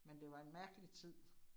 Men det var em mærkelig tid